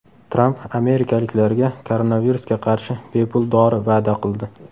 Tramp amerikaliklarga koronavirusga qarshi bepul dori va’da qildi.